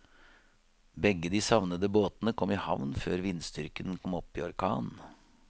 Begge de savnede båtene kom i havn før vindstyrken kom opp i orkan.